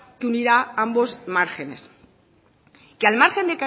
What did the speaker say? que unirá ambos márgenes que al margen